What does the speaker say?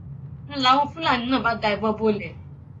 ń láwọn fúlàní náà bá da ìbọn bolẹ